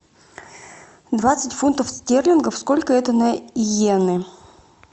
двадцать фунтов стерлингов сколько это на йены